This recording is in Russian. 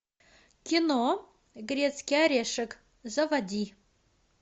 кино грецкий орешек заводи